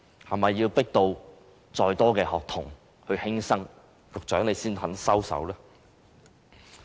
是否要迫到更多學童輕生，局長才肯收手？